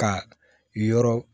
Ka yɔrɔ